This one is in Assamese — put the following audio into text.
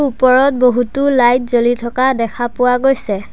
ওপৰত বহুতো লাইট জ্বলি থকা দেখা পোৱা গৈছে।